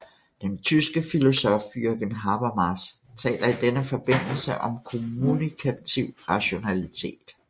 Den tyske filosof Jürgen Habermas taler i denne forbindelse om kommunikativ rationalitet